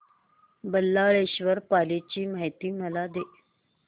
बल्लाळेश्वर पाली ची मला माहिती दे